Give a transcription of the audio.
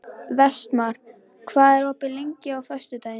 Vestmar, hvað er opið lengi á föstudaginn?